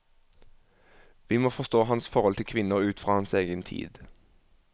Vi må forstå hans forhold til kvinner ut fra hans egen tid.